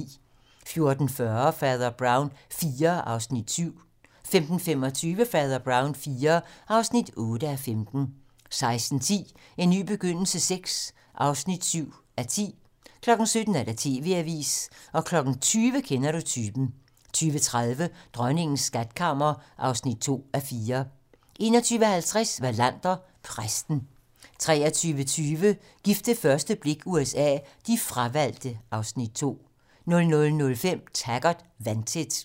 14:40: Fader Brown IV (7:15) 15:25: Fader Brown IV (8:15) 16:10: En ny begyndelse VI (7:10) 17:00: TV-Avisen 20:00: Kender du typen? 20:30: Dronningens skatkammer (2:4) 21:50: Wallander: Præsten 23:20: Gift ved første blik USA: De fravalgte (Afs. 2) 00:05: Taggart: Vandtæt 02:30: Kender du typen? (Afs. 8)*